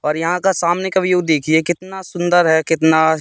और यहां का सामने का व्यू देखिए कितना सुंदर है कितना--